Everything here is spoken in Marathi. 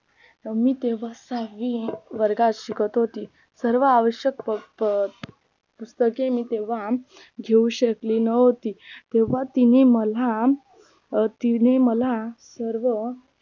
मी तेव्हा सहावी वर्गात शिकत होती सर्व आवश्यक प पुस्तके मी तेव्हा घेऊ शकली नव्हती तेव्हा तिने मला तिने मला सर्व